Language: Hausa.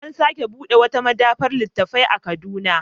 An sake buɗe wata maɗaba'ar littattafai a Kaduna.